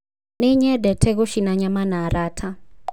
Nĩnyendete gũcina nyama na arata